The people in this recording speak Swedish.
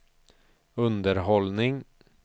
underhållning